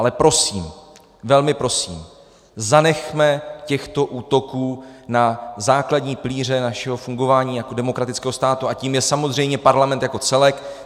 Ale prosím, velmi prosím, zanechme těchto útoků na základní pilíře našeho fungování jako demokratického státu, a tím je samozřejmě Parlament jako celek.